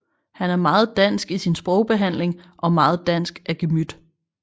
Han er meget dansk i sin sprogbehandling og meget dansk af gemyt